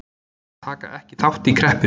Taka ekki þátt í kreppunni